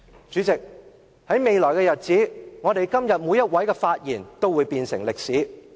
主席，我們今天每位的發言將來也會變成歷史。